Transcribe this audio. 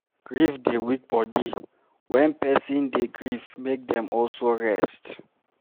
Grief dey weak body, when person dey grief make dem also rest